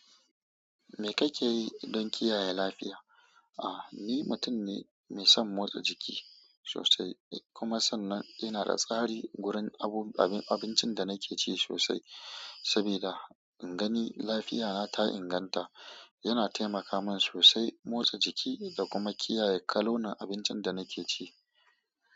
Me kake yi don kiyaye lafiya? Ah, ni mutum ne mai son motsa jiki sosai. Kuma sannan ina da tsari gurin abun abin abincin da nake ci sosai. Sabida in gani lafiyata ta inganta. Yana taimaka min sosai motsa jiki da kuma kiyaye kalolin abincin da nake ci.